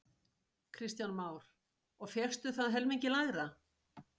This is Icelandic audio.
Kristján Már: Og fékkstu það helmingi lægra?